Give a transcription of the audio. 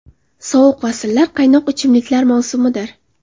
Sovuq fasllar qaynoq ichimliklar mavsumidir!